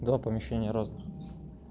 два помещения разных